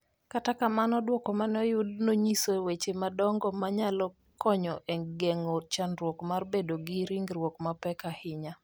Kata kamano, duoko ma ne oyud nonyiso weche madongo ma nyalo konyo e geng’o chandruok mar bedo gi ringruok mapek ahinya.